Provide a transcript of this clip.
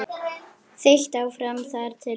Þeytt áfram þar til stíft.